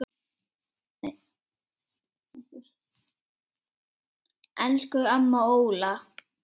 Elsku amma Óla.